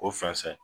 O fɔnsɔn